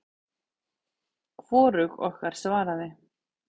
Hvorug okkar svaraði.